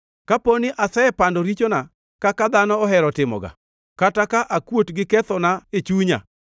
Kapo ni asepando richona kaka dhano ohero timoga, kata ka akuot gi kethona e chunya,